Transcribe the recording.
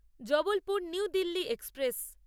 Jabalpur new Delhi express